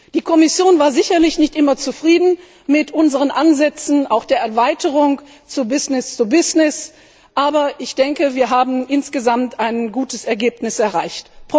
Die Kommission war sicherlich nicht immer zufrieden mit unseren Ansätzen, auch mit der Erweiterung auf Business to Business aber ich denke, wir haben insgesamt ein gutes Ergebnis erreicht.